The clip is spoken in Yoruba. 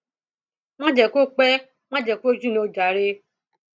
má jẹ kó pẹ má jẹ kó jinná o jàre